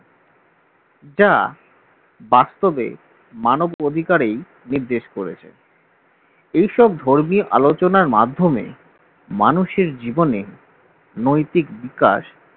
যা বাস্তবে মানবাধিকারের নির্দেশ করেছে এই সব ধর্মীয় আলোচনার মাধ্যমে মানুষের জীবনে নৈতিক বিকাশ